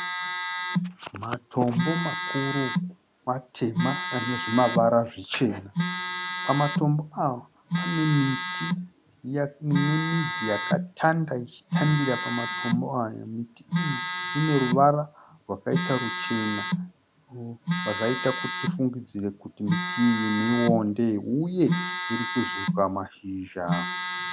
Matombo makuru matema anemazvimavara zvichena. Pamatombo aya pane miti inemidzi yakatanda ichitandira pamatombo aya. Miti iyi ineruvara rwakaita ruchena zvinobva zvaita kuti tifungidzire kuti miti iyi mionde. Uye irikuzvuuka mashizha.